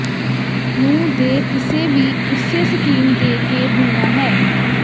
ਨੂੰ ਦੇ ਕਿਸੇ ਵੀ ਉਸੇ ਸਕੀਮ ਦੇ ਕੇ ਬੁਣਿਆ ਹੈ